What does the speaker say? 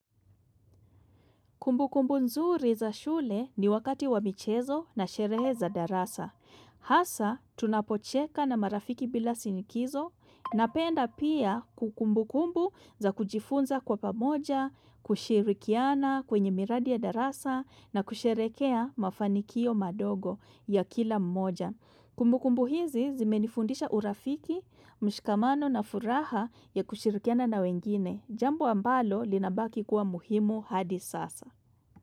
Kumbu kumbu nzuri za shule ni wakati wa michezo na sherehe za darasa. Hasa, tunapocheka na marafiki bila shinikizo, na penda pia ku kumbu kumbu za kujifunza kwa pamoja, kushirikiana kwenye miradi ya darasa, na kusherehekea mafanikio madogo ya kila mmoja. Kumbu kumbu hizi zimenifundisha urafiki, mshikamano na furaha ya kushirikiana na wengine. Jambo ambalo linabaki kuwa muhimu hadi sasa.